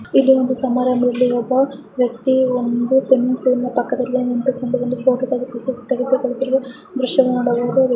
ಇದು ಒಂದು ಸಮಾರಾಂಬದಲ್ಲಿ ಒಬ್ಬ ವ್ಯಕ್ತಿಯು ಒಂದು ಸ್ವಿಮಿಂಗ್ ಫುಲ್ ಪಕ್ಕದಲ್ಲಿ ನಿಂತಕೊಂಡು ಫೈಟೋ ತೆಗೆಸಿಕೊಳ್ಳುತ್ತಿರುವ ದೃಶ್ಯವನ್ನು ನೋಡ.